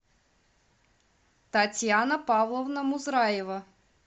татьяна павловна музраева